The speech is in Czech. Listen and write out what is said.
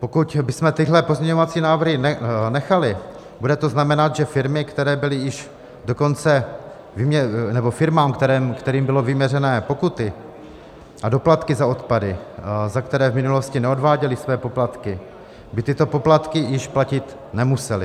Pokud bychom tyhle pozměňovací návrhy nechali, bude to znamenat, že firmy, kterým byly vyměřené pokuty a doplatky za odpady, za které v minulosti neodváděly své poplatky, by tyto poplatky již platit nemusely.